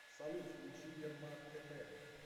салют включи ярмак тп